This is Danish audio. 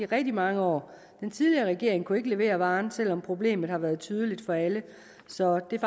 rigtig mange år den tidligere regering kunne ikke levere varen selv om problemet har været tydeligt for alle så det er